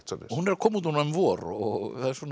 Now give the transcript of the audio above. hún er að koma út núna um vor og það er